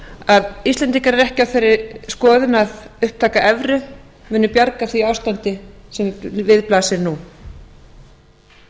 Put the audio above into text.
að íslendingar eru ekki á þeirri skoðun að upptaka evru muni bjarga því ástandi sem við blasir nú